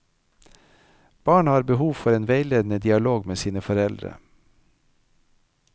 Barn har behov for en veiledende dialog med sine foreldre.